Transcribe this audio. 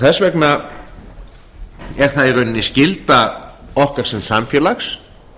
þess vegna er það í rauninni skylda okkar sem samfélags